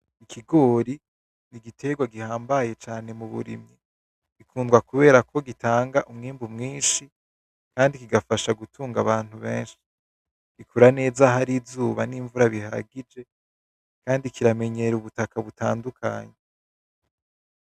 Ikigori ni igiterwa gihambaye cane mu burimyi. Gikundwa kubera ko gitanga umwimbu mwinshi kandi kigafasha gutunga abantu benshi. Gikura neza ahari izuba n'imvura bihagije, kandi kiramenyera ubutaka butandukanye.